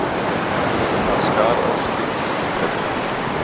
Hann skar ostinn í sífellu.